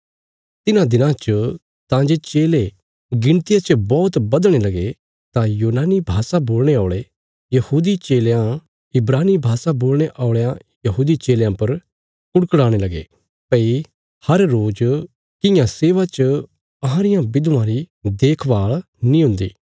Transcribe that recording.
तिन्हां दिना च तां जे चेले गिणतिया च बौहत बधणे लगे तां यूनानी भाषा बोलणे औल़े यहूदी चेलयां इब्रानी भाषा बोलणे औल़यां यहूदी चेलयां पर कुड़कुड़ाने लगे भई हर रोज किया सेवा च अहां रियां विधवां री देखभाल नीं हुंदी